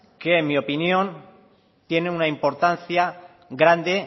que en mi opinión tiene una importancia grande